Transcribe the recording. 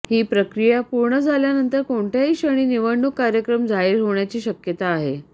ही प्रक्रिया पूर्ण झाल्यानंतर कोणत्याही क्षणी निवडणूक कार्यक्रम जाहीर होण्याची शक्यता आहे